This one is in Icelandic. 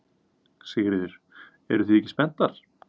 Sigríður: Eruð þið ekki spenntar?